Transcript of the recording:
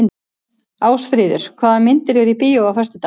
Ásfríður, hvaða myndir eru í bíó á föstudaginn?